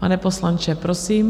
Pane poslanče, prosím.